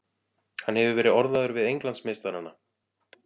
Hann hefur verið orðaður við Englandsmeistarana.